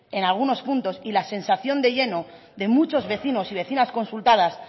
en algunos puntos y la sensación de muchos vecinos y vecinas consultadas